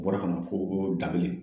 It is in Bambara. Bɔra ka na ko b'o dakelen.